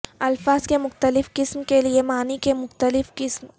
الفاظ کے مختلف قسم کے لئے معنی کے مختلف قسم